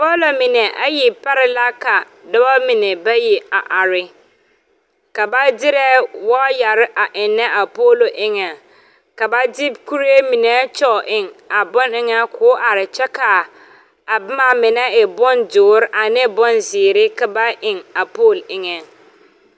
Poolo pare la ka ninbayi are. Ba de la waayɛre eŋ a poolo pʋɔŋ kyɛ la de kuree meŋ eŋ a poolo pʋɔ.A waayɛre mine e la dɔre kyɛ ka a mine e ziire.